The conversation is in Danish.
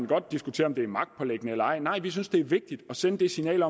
godt diskutere er det magtpåliggende eller ej nej men vi synes det er vigtigt at sende det signal at